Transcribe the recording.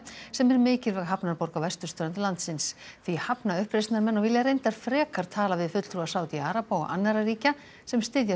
sem er mikilvæg hafnarborg á vesturströnd landsins því hafna uppreisnarmenn og vilja reyndar frekar tala við fulltrúa Sádi araba og annarra ríkja sem styðja